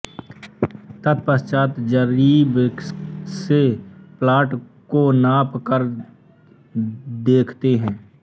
तत्पश्चात् जरीेब से प्लॉट को नाप कर देखते है